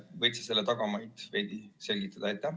Võid sa selle tagamaid veidi selgitada?